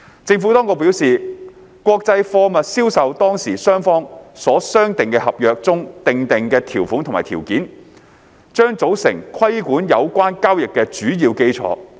政府當局表示，國際貨物銷售當事雙方所商定的合同中訂定的條款及條件，將組成規管有關交易的主要基礎。